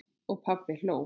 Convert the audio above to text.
Og pabbi hló.